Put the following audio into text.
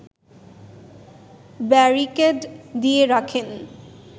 barricade দিয়ে রাখেন